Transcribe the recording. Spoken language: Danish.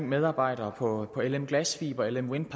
medarbejdere på lm glasfiber lm wind